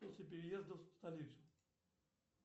после переезда в столицу